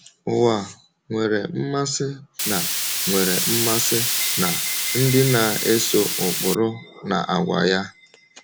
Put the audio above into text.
Ụwa nwere mmasị na nwere mmasị na ndị na-eso ụkpụrụ na àgwà ya.